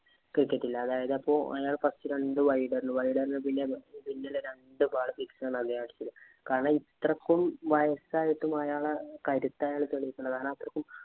cricket ഇല്‍. അപ്പൊ അയാള്‍ first രണ്ടു wide എറിഞ്ഞു. wide എറിഞ്ഞു പിന്നെ രണ്ടു ball fix ഇലാണ് അടിച്ചത്. കാരണം ഇത്രയ്ക്കും വയസായിട്ടും അയാള് അയാള്‍ടെ കരുത്ത് അയാള് തെളിയിക്കണു.